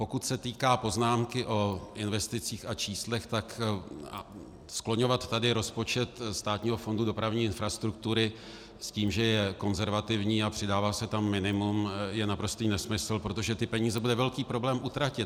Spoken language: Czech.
Pokud se týká poznámky o investicích a číslech, tak skloňovat tady rozpočet Státního fondu dopravní infrastruktury s tím, že je konzervativní a přidává se tam minimum, je naprostý nesmysl, protože ty peníze byly velký problém utratit.